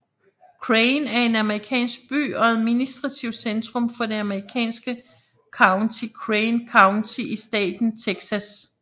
Crane er en amerikansk by og administrativt centrum for det amerikanske county Crane County i staten Texas